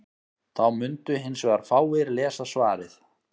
Þá mundu hins vegar fáir lesa svarið.